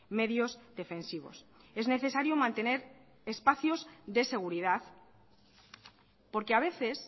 medios defensivos es necesario mantener espacios de seguridad porque a veces